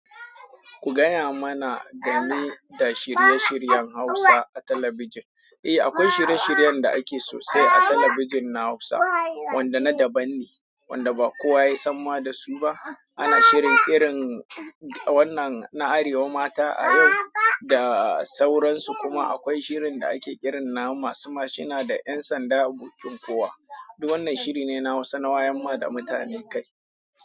Ku gaya mana game da shirye-shiryen Hausa a talabijin. Eh, akwai shirye-shiryen da ake so sai a talabijin na Hausa wanda na daban ne, wanda ba kowa ya san ma da su ba. Ana shirin irin wannan na arewa, mata ayau da sauran su kuma akwai shirin da ake irin na masu mashina da ƴan sanda abokin kowa. Duk wannan shiri ne na Hausa na wayarma da mutane kai.